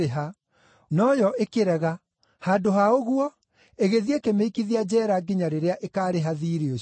“Nowe akĩrega. Handũ ha ũguo, agĩthiĩ ĩkĩmĩikithia njeera nginya rĩrĩa ĩkaarĩha thiirĩ ũcio.